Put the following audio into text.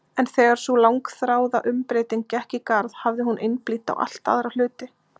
En þegar sú langþráða umbreyting gekk í garð hafði hún einblínt á allt aðra hluti.